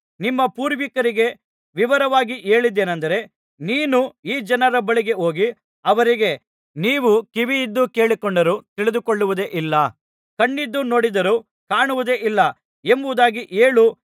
ನಿಮ್ಮ ಪೂರ್ವಿಕರಿಗೆ ವಿವರವಾಗಿ ಹೇಳಿದ್ದೇನೆಂದರೆ ನೀನು ಈ ಜನರ ಬಳಿಗೆ ಹೋಗಿ ಅವರಿಗೆ ನೀವು ಕಿವಿಯಿದ್ದು ಕೇಳಿಕೊಂಡರೂ ತಿಳಿದುಕೊಳ್ಳುವುದೇ ಇಲ್ಲ ಕಣ್ಣಿದ್ದು ನೋಡಿದರೂ ಕಾಣುವುದೇ ಇಲ್ಲ ಎಂಬುದಾಗಿ ಹೇಳು